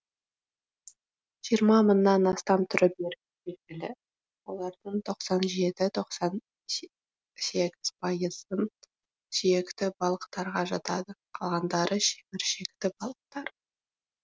жиырма мыңнан астам түрі белгілі олардың тоқсан жеті тоқсан сегіз пайызы сүйекті балықтарға жатады қалғандары шеміршекті балықтар